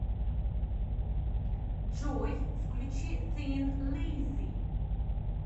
джой включи син лиззи